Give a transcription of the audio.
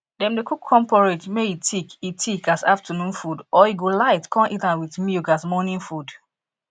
dem dey cook corn porridge may e thick e thick as afternoon food or e go light con eat am with milk as morning food